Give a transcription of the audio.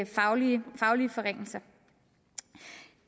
faglige forringelser